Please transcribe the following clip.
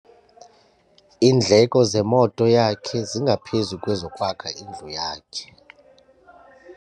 Iindleko zemoto yakhe zingaphezu kwezokwakha indlu yakhe.